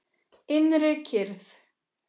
Innri kyrrð.